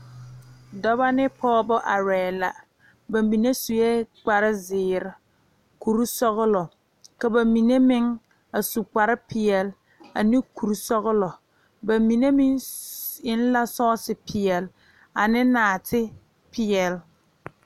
Dɔba ne pɔgeba arɛɛ la ba mine sue kpar zeere kuri sɔgelɔ ka ba mine meŋ a su kpar peɛle ane kuri sɔgelɔ ba mine meŋ eŋ la sɔɔse peɛle ane naate peɛle